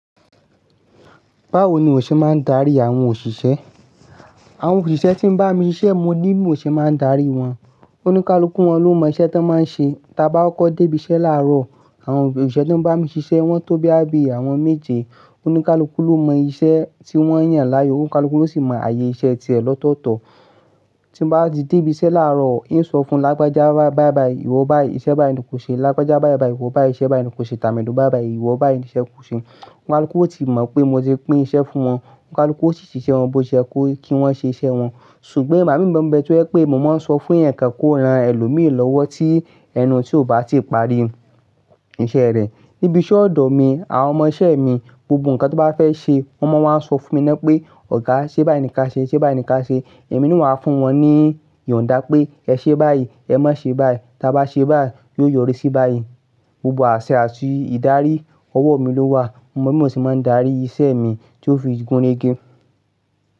Báwo ni iwo ṣe máa ń darí àwọn òṣìṣẹ́? Àwọn òṣìṣẹ́ tí ń bá mi ṣiṣẹ́, mo ni bi mòo ṣe máa ń darí wọn. Oníkálukuú wọn ló mọ iṣẹ́ tí wọ́n máa ń ṣe. Ta bá kọ́ko dé ibiṣẹ́ láàárọ̀, àwọn òṣìṣẹ́ tí ń bá mi ṣiṣẹ́, wọ́n tó bí àbí àwọn méje, oníkálukú ló mọ iṣẹ́ tí wọ́n yàn láàyò, oníkálukú ló sì mọ ààyè iṣẹ́ tiẹ̀ lọ́tọ̀ọ̀tọ̀. Tí m bá ti dé ibi iṣẹ́ láàárọ̀, ì ń sọ fún lágbájá bái, bái bai, ìwọ bái yìí iṣẹ́ bái yìí ni kò ṣe, lágbájá bái, bái, ìwọ bái yìí iṣẹ́ bá yìí ni kò ṣe, tàmédun bái, bái, ìwọ bái yìí iṣẹ́ kò ṣe. Oníkálukú ó ti mọ̀ pé mo ti pín iṣẹ́ fún wọn. Oníkálukú ó sì ṣiṣẹ́ wọn bó ṣe yẹ kó kí wọ́n ṣe iṣẹ́ wọn. Ṣùgbọ́n igbà mí mo ń bẹ tó jẹ́ pé mo máa ń sọ fún ẹ̀yan kan kó ran ẹlòmíi lọ́wọ́ tí ẹnu tí òo bá ti parí iṣẹ́ rẹ̀. Níbi ise odo mi, àwọn ọmọ iṣẹ́e mi, gbogbo nǹkan tan bá fẹ́ ṣe, wọ́n máa wá sọ fún mi na pé, ọ̀gá ṣe bái ni ka ṣee, ṣe bái ni ka ṣee. Èmi ni n wà fún wọn ní ìyàndá pé ẹ ṣe báyìí, ẹ má ṣe báyìí. Ta bá ṣe báyìí, yóò yọrí sí báyìí. Gbogbo àṣẹ àti ìdarí ọwọ́ mi ló wà. Mo sì máa ń darí iṣẹ́e mi tí ó fi gún rege.